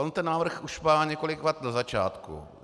On ten návrh už má několik vad na začátku.